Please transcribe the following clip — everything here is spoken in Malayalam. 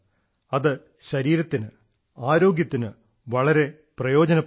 അത് ശരീരത്തിന് ആരോഗ്യത്തിന് വളരെ പ്രയോജനപ്രദമാണ്